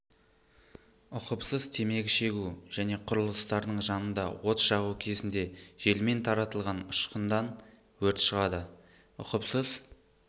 ұқыпсыз темекі шегу және құрылыстардың жанында от жағу кезінде желмен таратылған ұшқындан өрт шығады ұқыпсыз